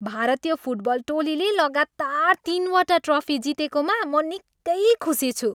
भारतीय फुटबल टोलीले लगातार तिनवटा ट्रफी जितेकामा म निकै खुसी छु।